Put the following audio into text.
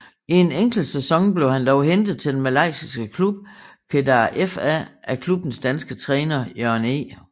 I en enkelt sæson blev han dog hentet til den malaysiske klub Kedah FA af klubbens danske træner Jørgen E